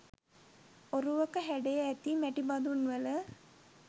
ඔරුවක හැඩය ඇති මැටි බදුන්වල